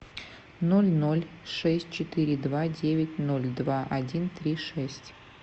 ноль ноль шесть четыре два девять ноль два один три шесть